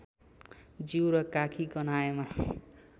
जिउ र काखी गन्हाएमा